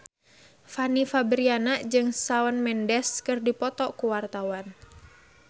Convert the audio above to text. Fanny Fabriana jeung Shawn Mendes keur dipoto ku wartawan